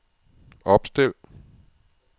opstil